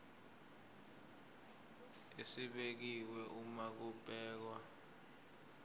esibekiwe uma kubhekwa